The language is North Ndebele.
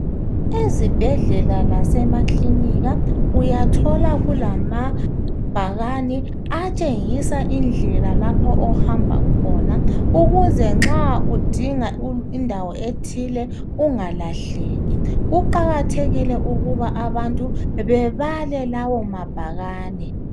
Ezibhedlela lasemaklinika uyathola kulamabhakane atshengisa indlela lapho ohamba khona ukuze nxa udinga indawo ethile ungalahleki. Kuqakathekile ukuba abantu bebale lawo mabhakane.